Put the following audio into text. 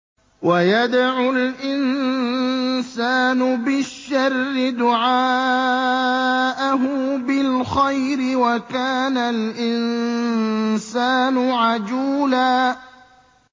وَيَدْعُ الْإِنسَانُ بِالشَّرِّ دُعَاءَهُ بِالْخَيْرِ ۖ وَكَانَ الْإِنسَانُ عَجُولًا